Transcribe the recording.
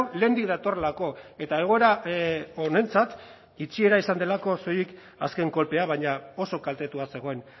lehendik datorrelako eta egoera honentzat itxiera izan delako soilik azken kolpea baina oso kaltetua zegoen